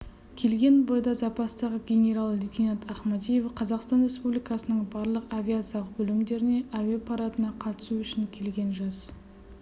келген бойда запастағы генерал-лейтенант ахмадиев қазақстан республикасының барлық авиациялық бөлімдерінен әуе парадына қатысу үшін келген жас